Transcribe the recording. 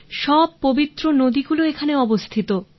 সব পবিত্র নদী গুলি এখানে অবস্থিত